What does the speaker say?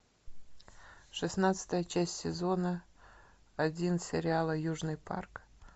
шестнадцатая часть сезона один сериала южный парк